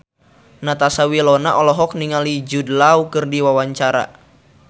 Natasha Wilona olohok ningali Jude Law keur diwawancara